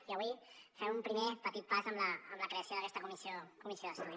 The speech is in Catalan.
i avui fem un primer petit pas amb la creació d’aquesta comissió d’estudi